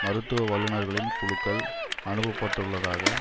மருத்துவ வல்லுநர்களின் குழுக்கள் அனுப்பப்பட்டுள்ளதாக